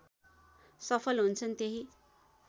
सफल हुन्छन् त्यही